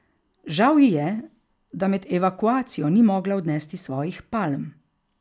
Žal ji je, da med evakuacijo ni mogla odnesti svojih palm.